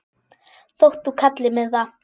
þótt þú kallir mig það.